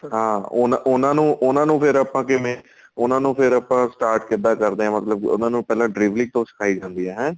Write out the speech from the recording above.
ਹਾਂ ਉਹਨਾ ਨੂੰ ਉਹਨਾ ਫੇਰ ਆਪਾਂ ਕਿਵੇਂ ਉਹਨਾ ਨੂੰ ਫੇਰ ਆਪਾਂ start ਕਿੱਦਾਂ ਕਰਦੇ ਆ ਮਤਲਬ ਉਹਨਾ ਨੂੰ ਪਹਿਲਾਂ driveling ਤੋਂ ਸਿਖਾਈ ਜਾਂਦੀ ਏ ਹੈ